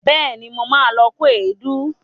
Bẹẹ̀ni, mo ma lọ kó èédú